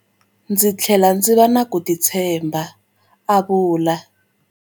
Ndzi tlhele ndzi va na ku titshemba, a vula.